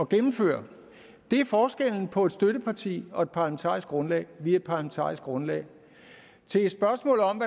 gennemføre det er forskellen på et støtteparti og et parlamentarisk grundlag vi er parlamentarisk grundlag til spørgsmålet om